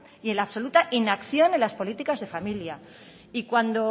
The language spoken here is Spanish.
y en la absoluta inacción en las políticas de familia y cuando